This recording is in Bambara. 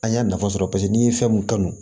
An y'a nafa sɔrɔ paseke n'i ye fɛn mun kanu